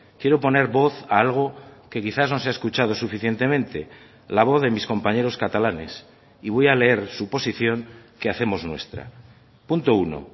quiero poner voz a algo que quizás no se ha escuchado suficientemente la voz de mis compañeros catalanes y voy a leer su posición que hacemos nuestra punto uno